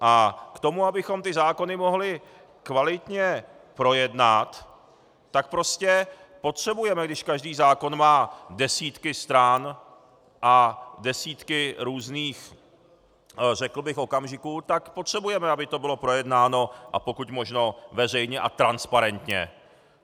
A k tomu, abychom ty zákony mohli kvalitně projednat, tak prostě potřebujeme, když každý zákon má desítky stran a desítky různých, řekl bych, okamžiků, tak potřebujeme, aby to bylo projednáno a pokud možno veřejně a transparentně.